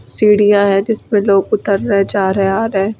सीढ़ियां है जिस पर लोग उतर रहे आ रहे हैं जा रहे।